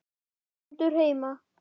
Stendur heima!